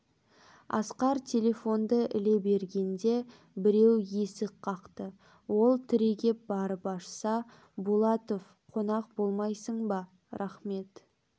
асқар телефонды іле бергенде біреу есік қақты ол түрегеп барып ашса булатов қонақ болмайсың ба рахмет